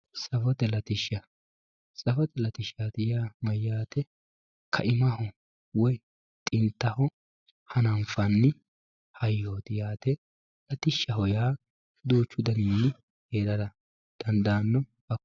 Safote latishsha, safote latishsha yaa mayyate kaimaho woyi xintaho hananfanni hayyoti yaate latishshaho yaa duuchu danihu heerara dandaano hakkoe.